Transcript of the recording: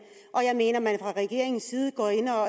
og jeg mener at man fra regeringens side går ind og